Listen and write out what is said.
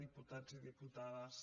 diputats i di·putades